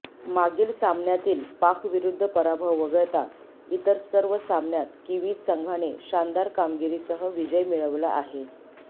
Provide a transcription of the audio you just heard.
मागील सामन्यातील पाकविरुद्ध पराभव वगळता इतर सर्व सामन्यात किवीज संघाने शानदार कामगिरीसह विजय मिळवला आहे